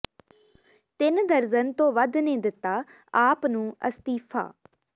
ਤਿੰਨ ਦਰਜ਼ਨ ਤੋ ਵੱਧ ਨੇ ਦਿੱਤਾ ਆਪ ਨੂੰ ਅਸਤੀਫ਼ਾ